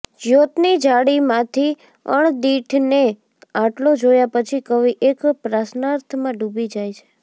જ્યોતની જાળીમાંથી અણદીઠને આટલો જોયા પછી કવિ એક પ્રશ્નાર્થમાં ડૂબી જાય છે